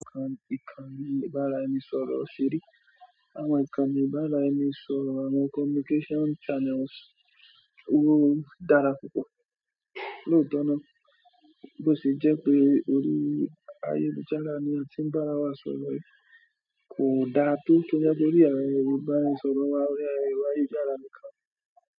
Àwọn ìkànnì ìbára ẹni sọ̀rọ̀ ṣe ri, àwọn ìkànnì ìbára ẹni sọ̀rọ̀ àwọn communication channels oó dára púpọ̀. Lóòtọ́ náà bó ti jẹ́ pé orí ayélujára ni a tin barawa sọ̀rọ̀ kò da tó tó torí ayẹyẹ Yorùbá ẹ sọ̀rọ̀ wa lórí ayélujára nìkan.